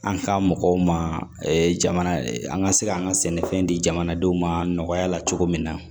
An ka mɔgɔw ma jamana an ka se ka an ka sɛnɛfɛn di jamanadenw ma nɔgɔya la cogo min na